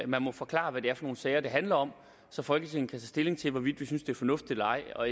man må forklare hvad det er for nogle sager det handler om så folketinget kan tage stilling til hvorvidt vi synes det er fornuftigt eller ej og